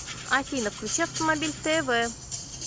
афина включи автомобиль тэ вэ